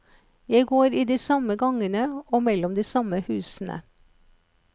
Jeg går i de samme gangene og mellom de samme husene.